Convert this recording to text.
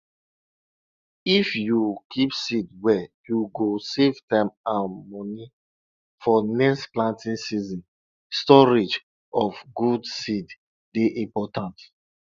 if you keep seed well you go save time and money for next planting season storage of good seed dey important